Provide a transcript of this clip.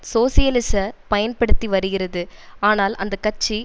சோசியலிச பயன்படுத்தி வருகிறது ஆனால் அந்த கட்சி